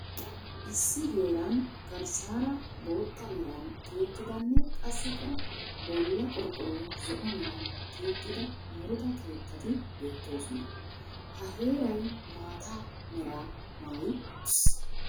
Issi heeran garssara bootta meran tiyettidanne qasikka bolla qorqoroy zo'o meran tiyettida muruta keettati beettosona. Ha heeray maata meraa maayi uttis.